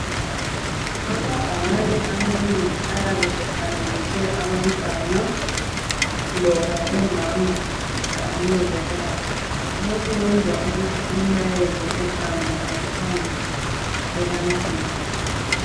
Amabhakane amanengi ayabe efanekiswe abantwana loba omama kanye lobaba. Lokhu kwenza ukuthi umlayezo uhambe ngokuphangisa ebantwini.